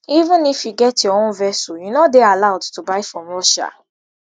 even if you get your own vessel you no dey allowed to buy from russia